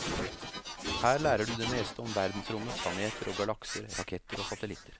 Her lærer du det meste om verdensrommet, planeter og galakser, raketter og satellitter.